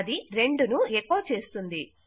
అది 2 ను ఎకొ చేస్తుంది